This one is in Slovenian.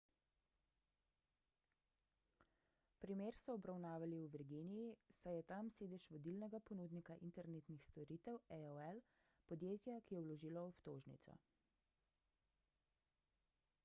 primer so obravnavali v virginiji saj je tam sedež vodilnega ponudnika internetnih storitev aol podjetja ki je vložilo obtožnico